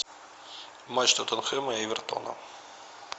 матч тоттенхэма и эвертона